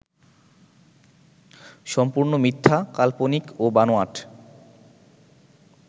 সম্পূর্ণ মিথ্যা, কাল্পনিক ও বানোয়াট